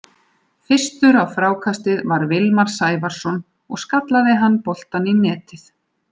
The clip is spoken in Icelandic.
Fyrstur á frákastið var Vilmar Sævarson og skallaði hann boltann í netið.